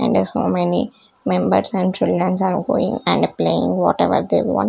in that how many members and childrens are going and playing whatever they want --